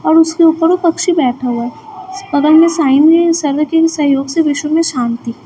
और उसके ऊपर वो पक्षी बैठा हुवा बगल में साइन है सर्व के सहयोग से विश्व में शांति--